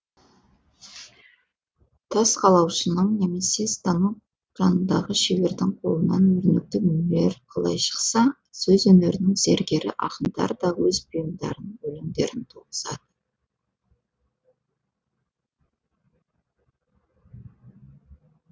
тас қалаушының немесе станок жанындағы шебердің қолынан өрнекті дүниелер қалай шықса сөз өнерінің зергері ақындар да өз бұйымдарын өлеңдерін туғызады